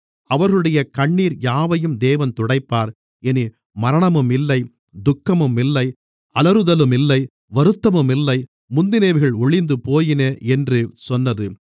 அவர்களுடைய கண்ணீர் யாவையும் தேவன் துடைப்பார் இனி மரணமுமில்லை துக்கமுமில்லை அலறுதலுமில்லை வருத்தமுமில்லை முந்தினவைகள் ஒழிந்துபோயின என்று சொன்னது